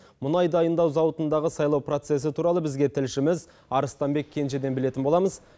мұнай дайындау зауытындағы сайлау процессі туралы бізге тілшіміз арыстанбек кенжеден білетін боламыз